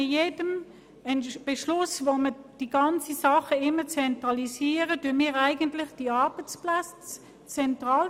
Mit jedem Beschluss zur Zentralisierung zementieren wir die Arbeitsplätze zentral.